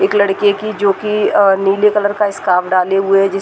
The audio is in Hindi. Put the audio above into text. एक लड़के की जो कि आ नीले कलर का स्कार्फ डाले हुए है जिस --